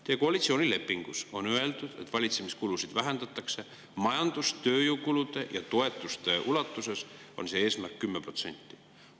Teie koalitsioonilepingus on öeldud, et valitsemiskulusid vähendatakse, majandus‑ ja tööjõukulude ning toetuste puhul on see eesmärk 10%.